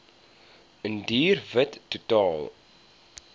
indiër wit totaal